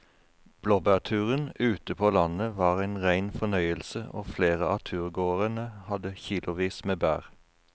Blåbærturen ute på landet var en rein fornøyelse og flere av turgåerene hadde kilosvis med bær.